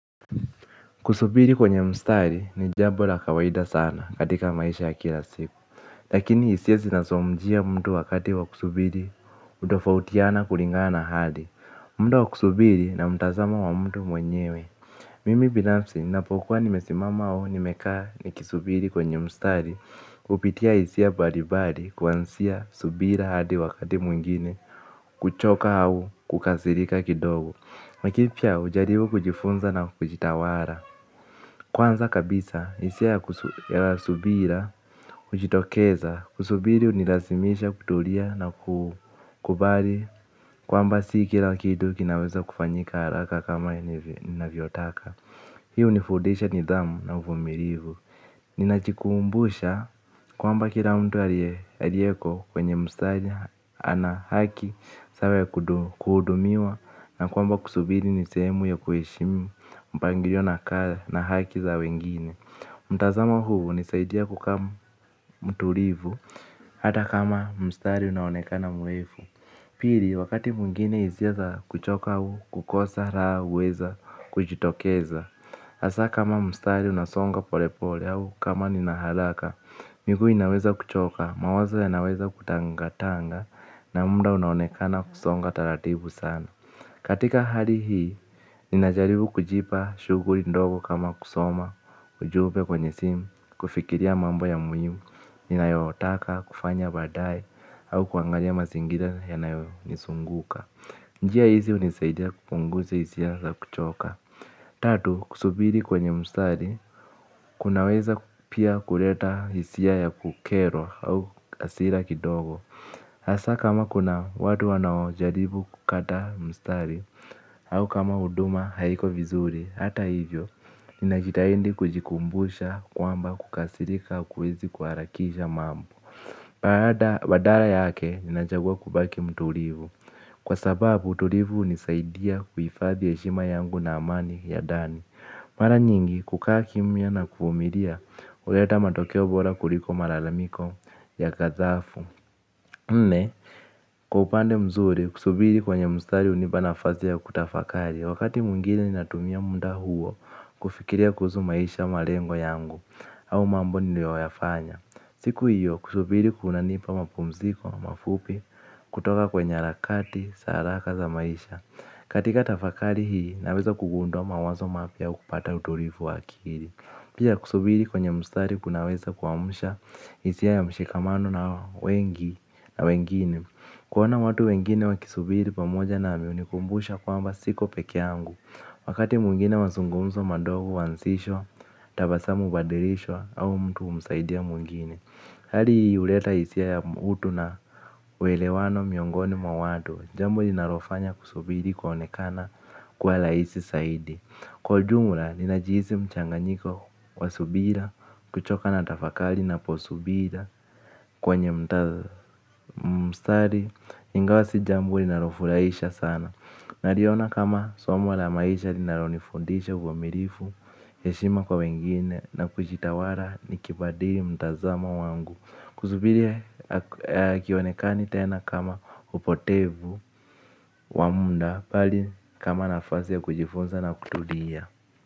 Kusubiri kwenye mstari ni jambola kawaida sana katika maisha ya kila siku. Lakini hisia zinazomjia mtu wakati wa kusubiri hutofautiana kulingana hali. Muda wa kusubiri na mtazamo wa mtu mwenyewe. Mimi binafsi nina pokuwa nimesimama au nimekaa ni kisubiri kwenye mstari. Kupitia hisia mbalimbali kuanzia subira hadi wakati mwingine kuchoka au kukasirika kidogo lakinipia hujaribu kujifunza na kujitawala. Kwanza kabisa, hisiaya kusubira, hujitokeza, kusubiri hunilazimisha kutulia na kukubali kwamba si kila kitu kinaweza kufanyika haraka kama nina vyotaka. Hii huni fundisha nidhamu na uvumilivu. Ninajikumbusha kwamba kila mtu aliyeko kwenye mstari ana haki. Sawaya kuhudumiwa na kwamba kusubiri nisehemu ya kuheshimu mpangilio na haki za wengine. Mtazamo huu hunisaidia kuka mtulivu hata kama mstari unaonekana mrefu. Pili wakati mwingine hisiaza kuchoka au kukosa raha huweza kujitokeza hasa kama mstari unasonga pole pole au kama ninaharaka. Miguu inaweza kuchoka, mawazo ya naweza kutangatanga na muda unaonekana kusonga taratibu sana. Katika hali hii, ninajaribu kujipa shughuli ndogo kama kusoma, ujumbe kwenye simu, kufikiria mambo ya muhimu, ninayotaka, kufanya baadaye, au kuangalia mazingira yanayonizunguka. Njia hizi hunisaidia kupunguza hisia za kuchoka. Tatu, kusubiri kwenye mstari, kunaweza pia kuleta hisia ya kukerwa au hasira kidogo. Hasa kama kuna watu wanao jaribu kukata mstari, au kama huduma haiko vizuri, hata hivyo, ninajitahidi kujikumbusha kwamba kukasirika hakuwezi kuharakisha mambo. Baada badala yake, ninachagua kubaki mtulivu. Kwa sababu, mtulivu hunisaidia kuhifadhi heshima yangu na amani ya ndani. Mara nyingi kukaa kimia na kuvumilia huleta matokeo bora kuliko malalamiko ya ghathafu. Nne, kwaupande mzuri kusubiri kwenye mstari hunipa nafasiya kutafakari. Wakati mwingine natumia muda huo kufikiria kuhusu maisha malengo yangu au mambo niliyo yafanya. Siku hiyo kusubiri kuna nipa mapumziko mafupi kutoka kwenye harakati zaharaka za maisha. Katika tafakari hii naweza kugundua mawazo mapya aukupata utulivu waakili. Pia kusubiri kwenye mstari kunaweza kuamsha hisia ya mshikamano na wengi na wengine kuona watu wengine wakisubiri pamoja na mihunikumbusha kwamba siko pekeeyangu. Wakati mwingine mazungumzo madogo huanzishwa tabasamu hubadilishwa au mtu humsaidia mwingine. Halihii huleta hisia ya utu na uelewano miongoni mwawatu. Jambo linalofanya kusubiri ku onekana kuwa rahisi zaidi. Kwa ujumla, ninajihisi mchanganyiko wa subira. Kuchoka natafakali na posubira kwe nye mstari. Ingawasi jambo linalofurahisha sana naliona kama somo la maisha linalonifundisha uwa mirifu heshima kwa wengine na kujitawala nikibadili mtazamo wangu. Kusubiri hakionekani tena kama upotevu wamuda bali kama nafasiya kujifunza na kutulia.